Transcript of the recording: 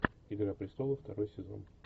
игра престолов второй сезон